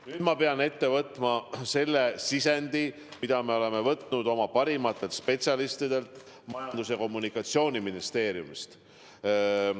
Nüüd ma pean ette võtma selle sisendi, mille me oleme saanud oma parimatelt spetsialistidelt Majandus- ja Kommunikatsiooniministeeriumis.